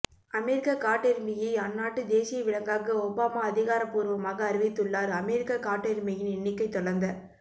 அமெரிக்க காட்டெருமையை அந்நாட்டு தேசிய விலங்காக ஒபாமா அதிகாரப்பூர்வமாக அறிவித்துள்ளார் அமெரிக்க காட்டெருமையின் எண்ணிக்கை தொடர்ந்த